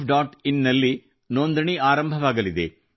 in ನಲ್ಲಿ ನೋಂದಣಿ ಆರಂಭವಾಗಲಿದೆ